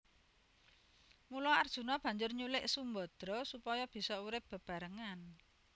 Mula Arjuna banjur nyulik Sumbadra supaya bisa urip bebarengan